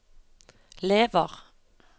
lever